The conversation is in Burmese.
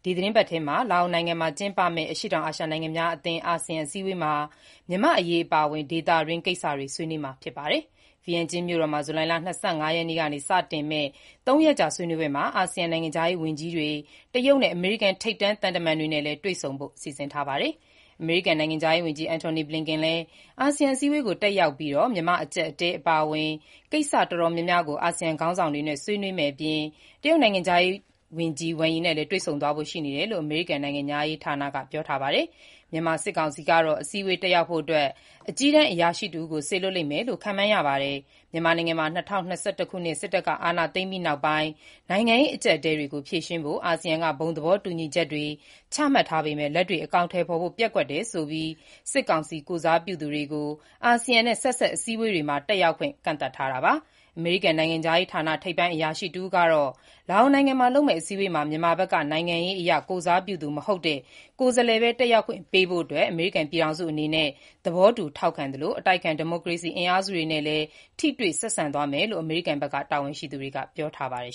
ီတင်းပတ်ထဲ လာအိုနိုင်ငံမှာ ကျင်းပမယ့် အရှေ့တောင်အာရှ နိုင်ငံများအသင်း (အာဆီယံ) အစည်းအဝေးမှာ မြန်မာ့အရေး အပါအဝင် ဒေသတွင်း ကိစ္စတွေ ဆွေးနွေးမှာ ဖြစ်ပါတယ်။ ဗီယင်ကျန်းမြို့တော်မှာ ဇူလိုင်လ ၂၅ ရက်နေ့ကနေ စတင်မယ့် ၃ ရက်ကြာ ဆွေးနွေးပွဲမှာ အာဆီယံ နိုင်ငံခြားရေး ဝန်ကြီးတွေ တရုတ်နဲ့ အမေရိကန်က ထိပ်တန်း သံတမန် တွေနဲ့လည်း တွေ့ဆုံဖို့ စီစဉ်ထားပါတယ်။ အမေရိကန်နိုင်ငံခြားရေးဝန်ကြီး Antony Blinken လည်း အာဆီယံ အစည်းအဝေးကို တက်ရောက်ပြီး မြန်မာ့အကျပ်အတည်းအပါအဝင် ကိစ္စရပ်အတော်များများကို အာဆီယံခေါင်းဆောင်တွေနဲ့ ဆွေးနွေးမယ့်အပြင် တရုတ်နိုင်ငံခြားရေးဝန်ကြီး Wang Yi နဲ့လည်း တွေ့ဆုံသွားဖို့ရှိကြောင်းအမေရိကန်နိုင်ငံခြားရေးဌာနက ပြောပါတယ်။ မြန်မာစစ်ကောင်စီကတော့ အစည်းအဝေးတက်ရောက်ဖို့အတွက် အကြီးတန်းအရာရှိတဦးကို စေလွှတ်လိမ့်မယ်လို့ ခန့်မှန်းရပါတယ်။ မြန်မာနိုင်ငံမှာ ၂၀၂၁ ခုနှစ် စစ်တပ်က အာဏာသိမ်းပြီးနောက်ပိုင်း နိုင်ငံရေး အကျပ်အတည်းတွေကို ဖြေရှင်းဖို့ အာဆီယံက ဘုံသဘောတူညီချက်တွေ ချမှတ်ထားပေမဲ့ လက်တွေ့ အကောင်အထည်ဖော်ဖို့ ပျက်ကွက်တယ်ဆိုပြီး စစ်ကောင်စီ ကိုယ်စားပြုသူတွေကို အာဆီယံနဲ့ ဆက်စပ် အစည်းအဝေးတွေမှာ တက်ရောက်ခွင့် ကန့်သတ်ထားတာ ဖြစ်ပါတယ်။ အမေရိကန် နိုင်ငံခြားရေးဌာန ထိပ်ပိုင်းအရာရှိတဦးကတော့ လာအိုနိုင်ငံမှာ လုပ်မယ့်အစည်းအဝေးမှာ မြန်မာဘက်က နိုင်ငံရေးအရကိုယ်စားပြုသူမဟုတ်တဲ့ ကိုယ်စားလှယ်ပဲ တက်ရောက်ခွင့်ပေးဖို့ အမေရိကန်ပြည်ထောင်စုအနေနဲ့ သဘောတူထောက်ခံသလို၊ အတိုက်အခံ ဒီမိုကရေစီ အင်အားစုတွေနဲ့လည်း ထိတွေ့ဆက်ဆံသွားမယ်လို့ အမေရိကန်တာဝန်ရှိသူတွေက ပြောပါတယ်